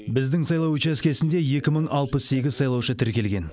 біздің сайлау учаскесінде екі мың алпыс сегіз сайлаушы тіркелген